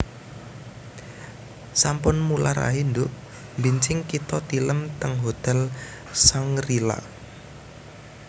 Sampun mular ae nduk mbenjing kita tilem teng hotel Shangri La